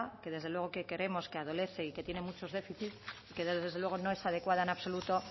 que desde luego que creemos que adolece y que tiene muchos déficits y que desde luego no es adecuada en absoluto